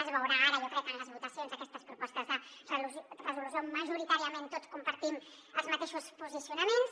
es veurà ara jo crec en les votacions d’aquestes propostes de resolució majoritàriament tots compartim els mateixos posicionaments